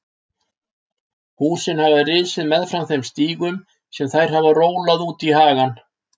Húsin hafa risið meðfram þeim stígum sem þær hafa rólað út í hagann.